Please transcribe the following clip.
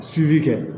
kɛ